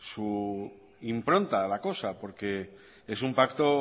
su impronta la cosa porque es un pacto